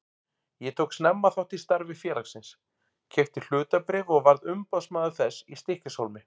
Ég tók snemma þátt í starfi félagsins, keypti hlutabréf og varð umboðsmaður þess í Stykkishólmi.